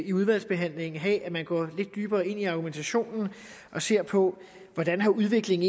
i udvalgsbehandlingen have at man går lidt dybere ind i argumentationen og ser på hvordan udviklingen